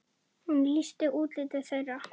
Hún lýsti útliti þeirra.